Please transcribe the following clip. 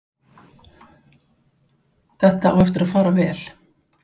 Þetta á eftir að fara vel.